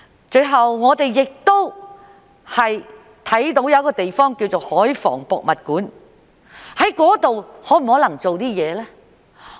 最後，我們看到一個地方，就是香港海防博物館，在那裏可否做一些事呢？